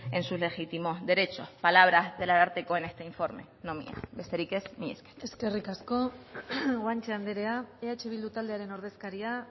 en sus legítimos derechos palabras del ararteko en este informe no mías besterik ez mila esker eskerrik asko guanche anderea eh bildu taldearen ordezkaria